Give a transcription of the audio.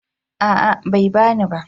A'a bai bani ba